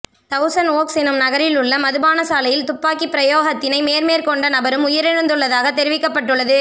thousand Oaks என்னும் நகரில் உள்ள மதுபானசாலையில் துப்பாக்கிப்பிரயோகத்தினை மேற்மேற்கொண்ட நபரும் உயிரிழந்துள்ளதாக தெரிவிக்கப்பட்டுள்ளது